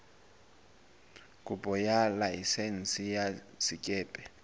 kopo ya laesense ya sekepe